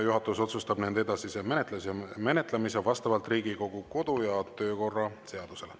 Juhatus otsustab nende edasise menetlemise vastavalt Riigikogu kodu‑ ja töökorra seadusele.